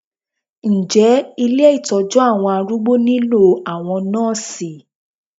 Ǹjẹ́ ilé Ìtọ́jú àwọn arúgbó nílò àwọn Nọ́sìì.